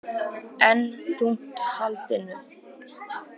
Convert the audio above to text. Enn þungt haldin